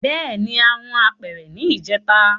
Bẹẹni a hun apere ni ijeta